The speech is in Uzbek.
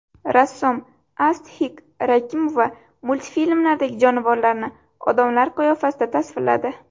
Rassom Asthik Rakimova multfilmlardagi jonivorlarni odamlar qiyofasida tasvirladi.